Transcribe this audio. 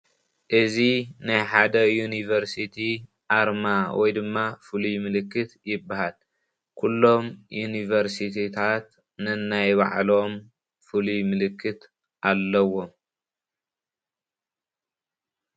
እዚ ምስሊ ካብቶም ኣብ ኢ/ያ ዝርከቡ ኣርማ እዩ ወይ ምልክት እዩ።